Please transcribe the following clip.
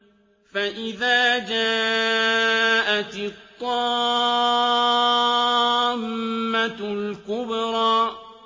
فَإِذَا جَاءَتِ الطَّامَّةُ الْكُبْرَىٰ